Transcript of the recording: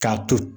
K'a to